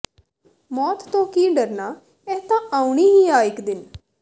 ਮੌਤ ਤੋਂ ਕੀ ਡਰਨਾ ਇਹ ਤਾਂ ਆਉਣੀ ਹੀ ਆ ਇੱਕ ਦਿਨ